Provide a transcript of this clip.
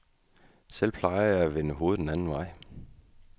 Selv plejer jeg at vende hovedet den anden vej.